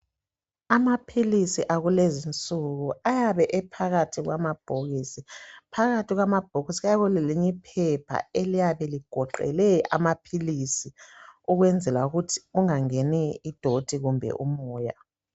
Amaphilisi akulezi nsuku ayabe ephakathi kwamabhokisi phakathi kwamabhokisi kuyabe kulelinye iphepha eliyabe ligoqele amaphilisi ukwenzela ukuthi kungangeni idoti kumbe umoya.